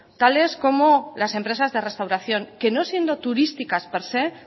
tales como las empresas de restauración que no siendo turísticas per se